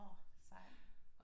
Åh sejt